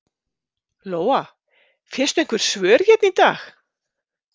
Lóa: Fékkstu einhver svör hérna í dag?